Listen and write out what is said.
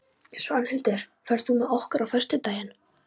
Svanhildur, ferð þú með okkur á föstudaginn?